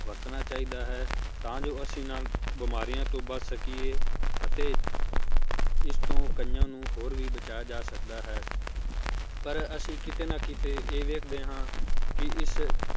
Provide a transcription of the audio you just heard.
ਵਰਤਣਾ ਚਾਹੀਦਾ ਹੈ ਤਾਂ ਜੋ ਅੱਸੀ ਨਾਲ ਬਿਮਾਰੀਆਂ ਤੋਂ ਬਚ ਸਕੀਏ ਅਤੇ ਇਸ ਤੋਂ ਕਈਆਂ ਨੂੰ ਹੋਰ ਵੀ ਬਚਾਇਆ ਜਾ ਸਕਦਾ ਹੈ ਪਰ ਅੱਸੀ ਕਿਤੇ ਨਾ ਕਿਤੇ ਇਹ ਵੇਖਦੇ ਹਾਂ ਕੀ ਇਸ